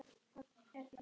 Tilvist Guðs